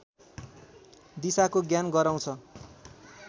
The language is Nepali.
दिशाको ज्ञान गराउँछ